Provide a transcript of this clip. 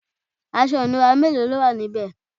aṣọ ìnura mélòó lówà níbe?